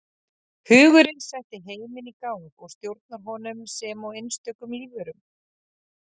Hugurinn setti heiminn í gang og stjórnar honum sem og einstökum lífverum.